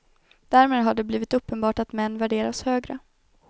Därmed har det blivit uppenbart att män värderas högre.